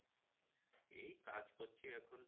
এই কাজ করছি এখন।